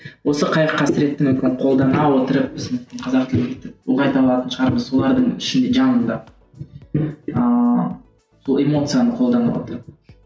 осы қайғы қасіретті мүмкін қолдана отырып осы қазақ тілін ұлғайта алатын шығармыз олардың ішінде жанында ыыы сол эмоцияны қолдана отырып